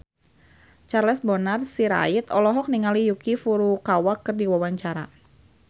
Charles Bonar Sirait olohok ningali Yuki Furukawa keur diwawancara